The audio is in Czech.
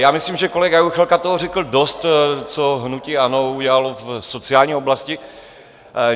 Já myslím, že kolega Juchelka toho řekl dost, co hnutí ANO udělalo v sociální oblasti.